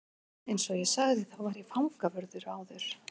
Eins og ég sagði þá var ég fangavörður áður.